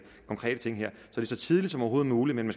konkrete ting det er så tidligt som overhovedet muligt men